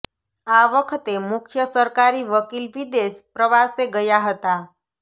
આ વખતે મુખ્ય સરકારી વકીલ વિદેશ પ્રવાસે ગયા હતા